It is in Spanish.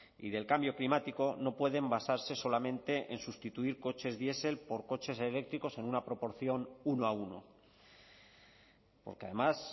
y del cambio climático no pueden basarse solamente en sustituir coches diesel por coches eléctricos en una proporción uno a uno porque además